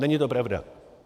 Není to pravda.